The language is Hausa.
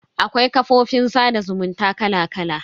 Akwai kafofin sada zumunta kala kala.